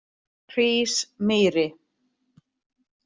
Hrísmýri